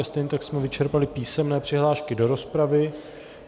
A stejně tak jsme vyčerpali písemné přihlášky do rozpravy.